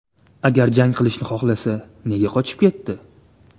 Agar jang qilishni xohlasa, nega qochib ketdi?